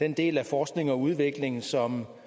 den del af forskningen og udviklingen som